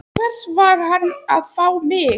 Til hvers var hann að fá mig?